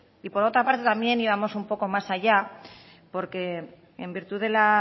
y por otra parte también íbamos un poco más allá porque en virtud de la